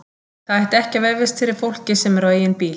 Það ætti ekki að vefjast fyrir fólki sem er á eigin bíl.